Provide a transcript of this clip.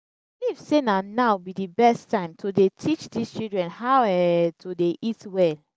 believe say na now be the best time to dey teach dis children how um to dey eat well